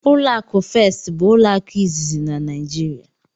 Ụlọ akụ first bụ ụlọ akụ izizi na Naijiria.